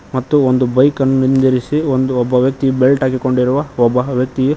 ಮತ್ತು ಒಂದು ಬೈಕನ್ನ ನಿಂದ್ರಿಸಿ ಒಂದು ಒಬ್ಬ ವ್ಯಕ್ತಿ ಬೆಲ್ಟ್ ಹಾಕಿಕೊಂಡಿರುವ ಒಬ್ಬ ವ್ಯಕ್ತಿ--